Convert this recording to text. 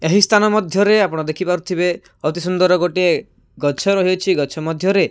ଏହି ସ୍ଥାନ ମଧ୍ୟ ରେ ଆପଣ ଦେଖି ପାରୁଥିବେ ଅତି ସୁନ୍ଦର ଗୋଟିଏ ଗଛ ରହି ଅଛି ଗଛ ମଧ୍ୟ ରେ।